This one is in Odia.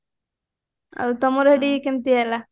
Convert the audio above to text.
ଆଉ ତମର ସେଠି କେମତି ହେଲା